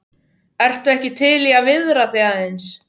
Ertu ekki til í að viðra þig aðeins?